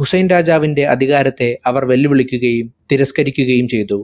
ഹുസൈൻ രാജാവിന്റെ അധികാരത്തെ അവർ വെല്ലുവിളിക്കുകയും തിരസ്കരിക്കുകയും ചെയ്തു.